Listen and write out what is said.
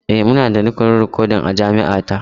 E, muna da rukunin rikodin a jami’a ta.